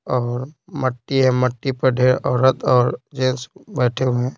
और मट्टी है मट्टी पर ढेर औरत और जेंस बैठे हुए हैं।